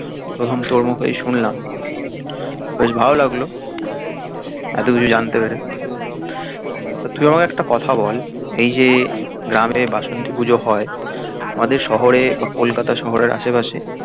প্রথম তোর মুখেই শুনলাম বেশ ভালো লাগলো এত কিছু জানতে পেরে তা তুই আমায় একটা কথা বল এই যে গ্রামে বাসন্তী পুজো হয় আমাদের শহরে বা কলকাতা শহরের আশেপাশে